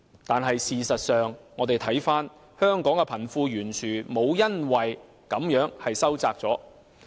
但是，事實上，香港的貧富懸殊沒有因而收窄。